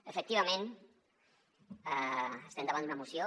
efectivament estem davant d’una moció